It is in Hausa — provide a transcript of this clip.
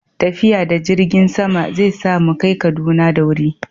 tafiya da jirgin sama zai sa mu kai Kaduna da wuri